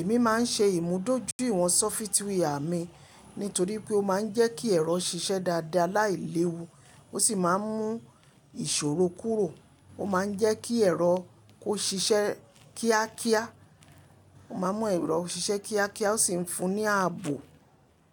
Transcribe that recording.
Èmi máa ń ṣe ìmúdójúìwọ̀n software mi nítorí pé ó máa ń jẹ́ kí ẹ̀rọ ṣiṣẹ́ dáadáa láìléwu, ó sì máa ń mú ìṣòro kúrò. Ó máa ń jẹ́ kí ẹ̀rọ kó ṣiṣẹ́ kíákíá. Ó máa ń mú ẹ̀rọ ṣiṣẹ́ kíákíá, ó sì ń fún ní ààbò,